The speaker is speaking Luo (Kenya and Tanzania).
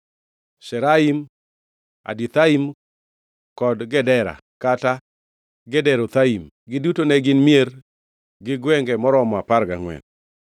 Sharaim, Adithaim, kod Gedera (kata Gederothaim). Giduto ne gin mier gi gwenge maromo apar gangʼwen.